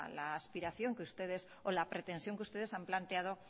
la aspiración que ustedes o la pretensión que ustedes han planteado